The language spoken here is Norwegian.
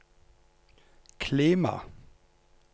klima